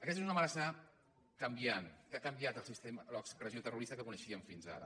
aquesta és una amenaça canviant que ha canviat l’expressió terrorista que coneixíem fins ara